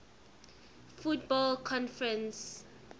football conference afc